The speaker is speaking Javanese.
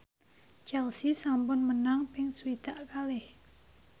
Chelsea sampun menang ping swidak kalih